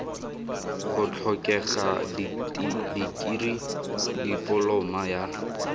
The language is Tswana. go tlhokega dikirii dipoloma ya